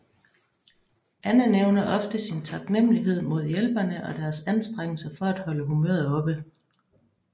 Anne nævner ofte sin taknemlighed mod hjælperne og deres anstrengelser for at holde humøret oppe